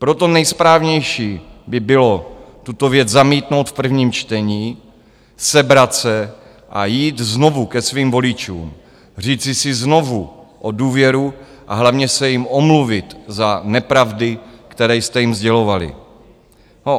Proto nejsprávnější by bylo tuto věc zamítnout v prvním čtení, sebrat se a jít znovu ke svým voličům, říci si znovu o důvěru a hlavně se jim omluvit za nepravdy, které jste jim sdělovali.